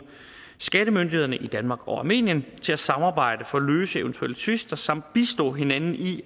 skattemyndighederne i danmark og i armenien til at samarbejde for at løse eventuelle tvister samt bistå hinanden i